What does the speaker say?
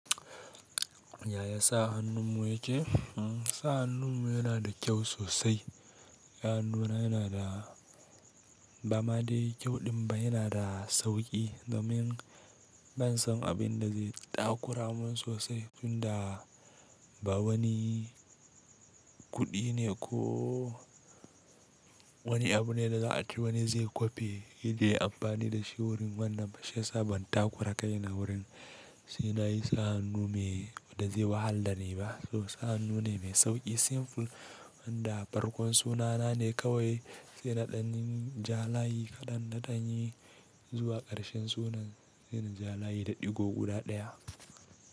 Yaya sa hannun mu yake? Sa hannun mu yana da kyau sosai. Ya nuna yana da bamade kyau din ba, yana da sauki domin ban san abin da zai takura mun sosai tunda ba wani kuɗi ne ko wani abu ne da za a ce wani zai kwafe, shi zai yi amfani da shi wurin wannan fashiya saban takura kaina wurin. Shi na yi sa hannu mai da zai wahalar ne ba, to sa hannu ne mai sauki simple wanda farkon sunana ne kawai sai naɗanin jalayi kaɗan naɗani zuwa ƙarshen sunan, sai na jalayi da ɗigo guda ɗaya.